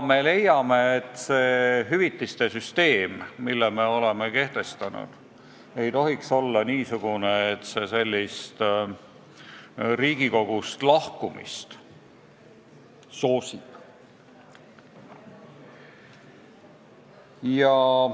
Me leiame, et see hüvitiste süsteem, mille me oleme kehtestanud, ei tohiks olla niisugune, et see sellist Riigikogust lahkumist soosib.